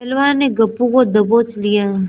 पहलवान ने गप्पू को दबोच लिया